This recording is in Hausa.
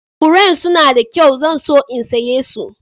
Furen suna da kyau. zan so in saya su.